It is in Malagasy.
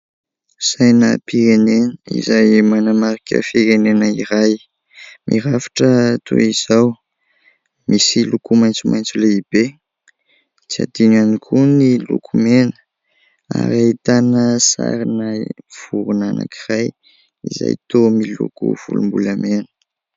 Sainam-pirenena izay manamarika firenena iray mirafitra toy izao misy loko maitso maitso lehibe tsy adino ihany koa ny loko mena ary ahitana sarina vorona anankiray izay toa miloko volom-bolamena.